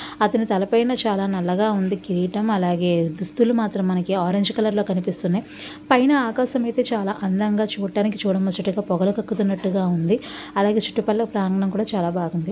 అతని తల పైన చాలా నల్లగా ఉంది కిరీటం అలాగే దుస్తులు మాత్రం మనకు ఆరంజ్ కలర్ లో కనిపిస్తున్నాయి పైన ఆకాశం అయితే చాలా అందంగా చూడటానికి చూడ ముచ్చటగా పొగలు కక్కుతున్నట్టుగా ఉంది అలాగే చుట్టూ పక్కల ప్రాంగణం కూడా చాలా బాగుంది.